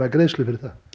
greiðslu fyrir það